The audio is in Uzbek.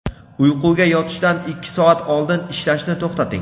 Uyquga yotishdan ikki soat oldin ishlashni to‘xtating.